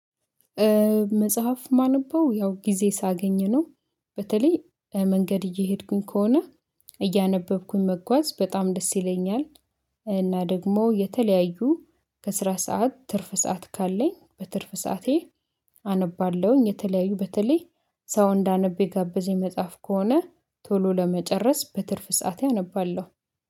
መጽሐፍ ማነበው ያው ጊዜ ሳገኝ ነው በተለይ መንገድ እየሄድኩኝ ከሆነ እያነበብኩኝ መጓዝ በጣም ደስ ይለኛል። እና ደግሞ የተለያዩ ከስራ ሰዓት ትርፍ ሰዓት ካለኝ በትርፍ ሰዓቴ። አነባለሁኝ የተለያዩ በተለይ ሰው እንዳነብ የጋበዘኝ መጽሐፍ ከሆነ ቶሎ ለመጨረስ በትርፍ ሰዓቴ አነባለሁ